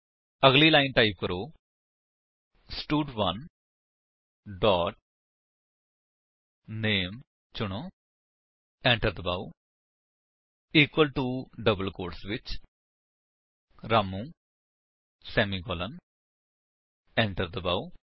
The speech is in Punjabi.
ਅਗਲੀ ਲਾਇਨ ਟਾਈਪ ਕਰੋ ਸਟਡ1 ਡੋਟ ਨਾਮੇ ਚੁਣੋ ਏੰਟਰ ਦਬਾਓ ਇਕੁਅਲ ਟੋ ਡਬਲ ਕੋਟਸ ਵਿੱਚ ਰਾਮੂ ਸੇਮੀਕਾਲਨ ਏੰਟਰ ਦਬਾਓ